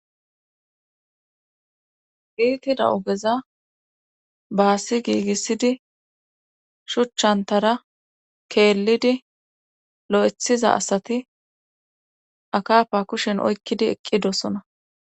giitida ogeza baassi giigissidi shuchchantara keellidi lo7ethiza asati akafa kushen oykkidi eqqidosona